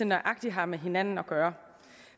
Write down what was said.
nøjagtig har med hinanden at gøre